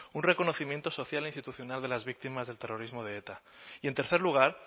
un reconocimiento social e institucional de las víctimas del terrorismo de eta y en tercer lugar